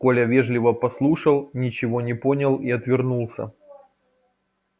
коля вежливо послушал ничего не понял и отвернулся